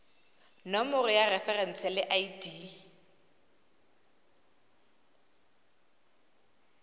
nomoro ya referense le id